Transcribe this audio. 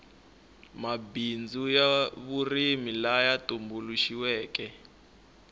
mabindzu ya vurimi laya tumbuluxiweke